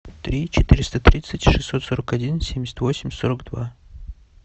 три четыреста тридцать шестьсот сорок один семьдесят восемь сорок два